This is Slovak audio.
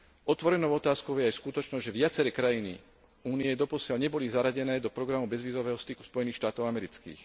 Otvorenou otázkou je aj skutočnosť, že viaceré krajiny Únie doposiaľ neboli zaradené do programu bezvízového styku Spojených štátov amerických.